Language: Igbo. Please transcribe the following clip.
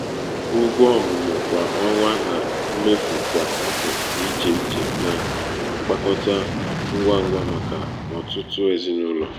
ụgwọ ọmụmụ kwa ọnwa na mmefu kwa afọ dị iche iche na-agbakọta ngwa ngwa maka ọtụtụ ezinụlọ.